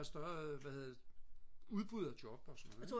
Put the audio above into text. større hvad hedder det udbud af job og sådan noget ik